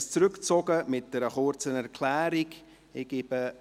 Er zieht dieses mit einer kurzen Erklärung zurück.